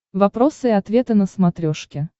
вопросы и ответы на смотрешке